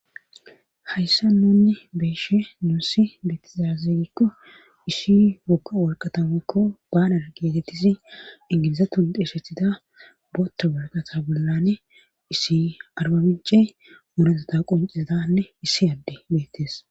hayssa nunne beeshe nuussi beettizazigikko ishi woka worqatamakko baanar gietettisi ingilizatundeeshethida booththa warqata bollane issi arbabice morezota qoncizatanne issi adde beettes